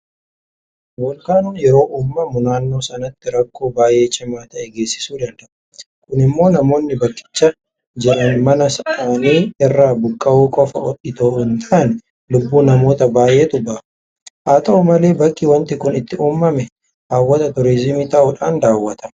Voolkaanon yeroo uumamu naannoo sanatti rakkoo baay'ee cimaa ta'e geessisuu danda'a. Kun immoo namoonni bakkicha jiran mana isaanii irraa buqqa'uu qofa itoo hintaane lubbuu namoota baay'eetu baha. Haata'u malee bakki waanti kun itti uumame hawwata turiizimii ta'uudhaan daawwatama.